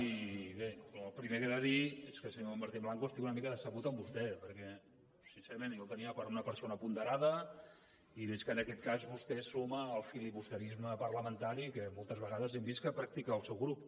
i bé el primer que he de dir és que senyor martín blanco estic una mica decebut amb vostè perquè sincerament jo el tenia per una persona ponderada i veig que en aquest cas vostè es suma al filibusterisme parlamentari que moltes vegades hem vist que practica el seu grup